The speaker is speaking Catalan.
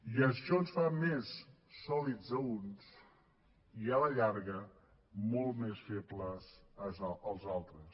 i això ens fa més sòlids a uns i a la llarga molt més febles els altres